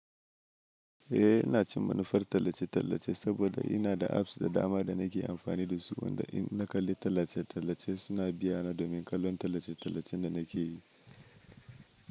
Eh ina cin manufar tallace-tallace saboda ina da apps da dama da nake amfani da su wanda in na kalli tallace-tallace suna biya na domin kallon tallace-tallacen da nake yi.